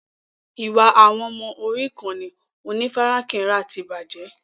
Ìwà àwọn ọmọ orí ìkànnì onífarakínra ti bàjẹ́.